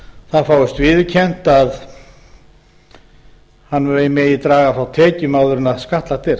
það fáist viðurkennt að hann megi draga frá tekjum áður en skattlagt er